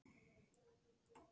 Lilla áfram.